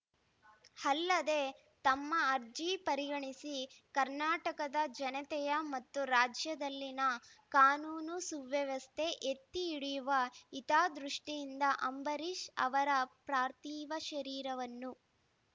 ಅಲ್ಲದೆ ತಮ್ಮ ಅರ್ಜಿ ಪರಿಗಣಿಸಿ ಕರ್ನಾಟಕದ ಜನತೆಯ ಮತ್ತು ರಾಜ್ಯದಲ್ಲಿನ ಕಾನೂನು ಸುವ್ಯವಸ್ಥೆ ಎತ್ತಿಹಿಡಿಯುವ ಹಿತದೃಷ್ಟಿಯಿಂದ ಅಂಬರೀಷ್‌ ಅವರ ಪ್ರಥೀವ ಶರೀರವನ್ನು